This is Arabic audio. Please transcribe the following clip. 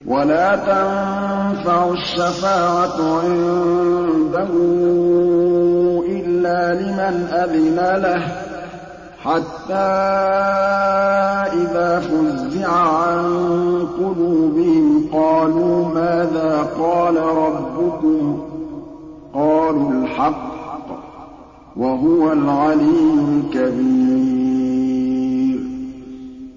وَلَا تَنفَعُ الشَّفَاعَةُ عِندَهُ إِلَّا لِمَنْ أَذِنَ لَهُ ۚ حَتَّىٰ إِذَا فُزِّعَ عَن قُلُوبِهِمْ قَالُوا مَاذَا قَالَ رَبُّكُمْ ۖ قَالُوا الْحَقَّ ۖ وَهُوَ الْعَلِيُّ الْكَبِيرُ